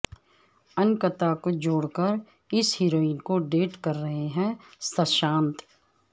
انکتا کو چھوڑ کر اس ہیروئن کو ڈیٹ کر رہے ہیں سشانت